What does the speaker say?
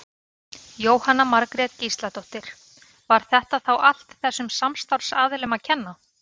Jóhanna Margrét Gísladóttir: Var þetta þá allt þessum samstarfsaðilum að kenna?